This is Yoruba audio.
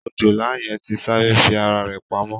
Òjòlá yẹn ti sáré fi ara rẹ̀ pamọ́